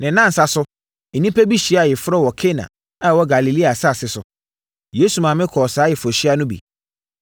Ne nnansa so, nnipa bi hyiaa ayeforɔ wɔ Kana a ɛwɔ Galilea asase so. Yesu maame kɔɔ saa ayeforɔhyia no bi.